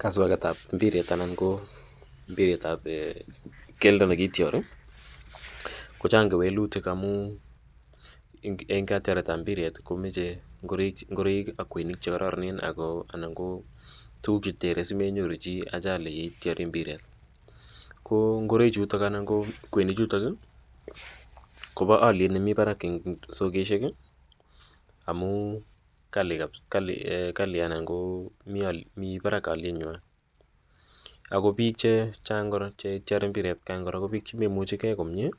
Kaswaket ap mpiret anan ko mpiret ap keldo ne kityari, ko chang' kewelutik amu eng' katyaretap mbiret ko mache ngoroik ak kweinik che kararanen anan tuguuk che tere che tere si menyoru chi ajali yan ityari mpiret. Ko ngoroichuto anan kweinichutok i, ko pa aliet nemi parak en sokeshek amu kali anan ko mi parak alienywa. Ako piik che chang' che ityari mpiret atian kora ko piik che memuchi gei komuye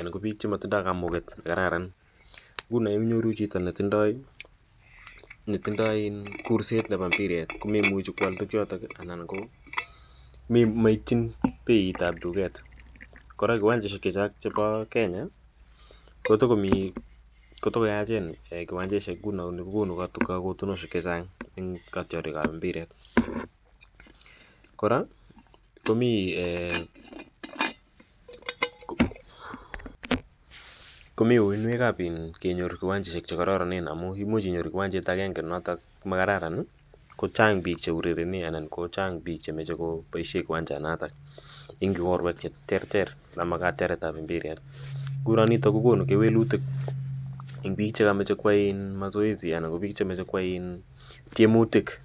anan ko piik che matinye kamuket ne karararan. Nguno inyoru chito ne tindai kurset nepo mpiret ko memuchi koal tugchotok anan ko maiytchin peit ap duket Kora kiwancheshek chepa Kenya ko tuko yachen kiwancheshek nguno ni ko konu kakotunoshek che chang' eng' katyarik ap mpiret. Kora komi uinwek ap kenyor kiwancheshek che kararanen amu imuch inyoru kiwanchet agenge notok ne makararan ko chang' piik che urerene anan ko chang' piik che mache kopaishe kiwanchanotok en orwek che terter ama katiaret ap mpiret. Nguno nitok ko konu kewelitik eng' piik che kamache koyai mazoezi anan ko piik che mache koyai tiemutik .